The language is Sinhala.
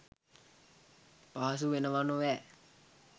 පහසු වෙනව නොවෑ